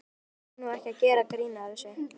Æ, maður á nú ekki að gera grín að þessu.